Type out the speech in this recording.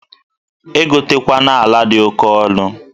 Egotekwana ala dị oke ọnụ!